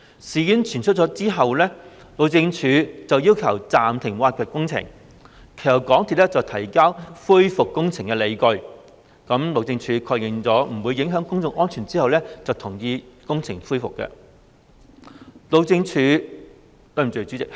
事件傳出後，路政署要求暫停挖掘工程，其後港鐵公司提交恢復工程的理據，路政署確認不會影響公眾安全後，便同意工程復工。